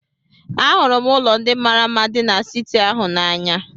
Ahụrụ m ụlọ ndị mara mma dị n'siti ahụ n'anya.